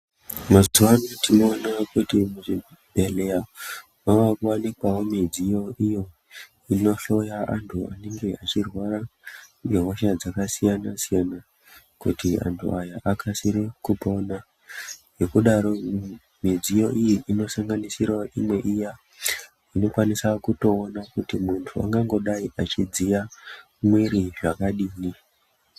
Mazuvano tinoona kuti muzvibhedhleya mava kuwanikwawo midziyo iyo inohloya antu anenge achirwara ngehosha dzakasiyana siyana kuti antu aya akasire kupona. Ngekudaro midziyo iyi inosanganisirawo imwe iya inokwanisa kutoona kuti muntu ungangodai achidziya mwiri zvakadini.